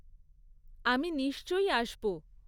আমি নিশ্চয়ই আসব।